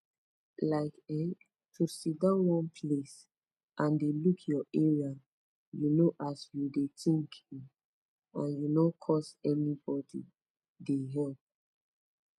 like[um]to sitdon one place and de look ur area u know as u de tinkin and u nor caus anybodi de help